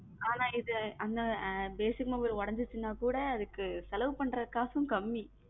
ஆனா இது அந்த basic mobile உடைஞ்சிருச்சுன்னா கூட அதுக்கு செலவு பண்ற காசும் கம்மி